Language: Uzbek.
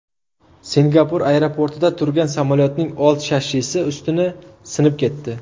Singapur aeroportida turgan samolyotning old shassisi ustuni sinib ketdi.